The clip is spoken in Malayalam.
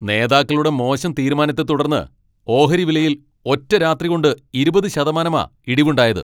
നേതാക്കളുടെ മോശം തീരുമാനത്തെ തുടർന്ന് ഓഹരി വിലയിൽ ഒറ്റരാത്രികൊണ്ട് ഇരുപത് ശതമാനമാ ഇടിവുണ്ടായത്.